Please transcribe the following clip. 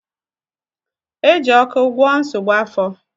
Eji ọkụ gwọọ nsogbu afọ